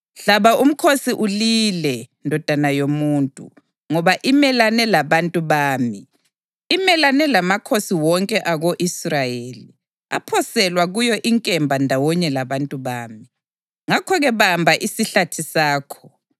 Hlaba umkhosi ulile, ndodana yomuntu, ngoba imelane labantu bami; imelane lamakhosana wonke ako-Israyeli. Aphoselwa kuyo inkemba ndawonye labantu bami. Ngakho-ke bamba isihlathi sakho.